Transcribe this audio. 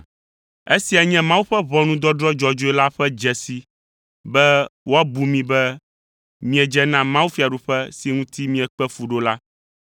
Esia nye Mawu ƒe ʋɔnudɔdrɔ̃ dzɔdzɔe la ƒe dzesi be woabu mi be miedze na mawufiaɖuƒe si ŋuti miekpe fu ɖo la.